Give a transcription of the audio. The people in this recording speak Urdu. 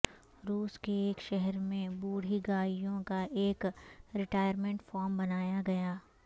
روس کے ایک شہر میں بوڑھی گائیوں کا ایک ریٹائرمنٹ فارم بنایا گیا ہے